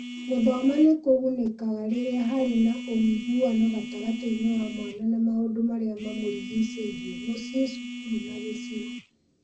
Gũthoma nĩ kũgunĩkaga rĩrĩa harĩ na ũiguano gatagatĩ ka mwana na maũndũ marĩa mamũrigicĩirie (mũciĩ, cukuru, na gĩcigo).